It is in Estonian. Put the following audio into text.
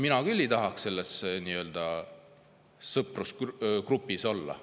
Mina küll ei tahaks selles nii-öelda sõprusgrupis olla.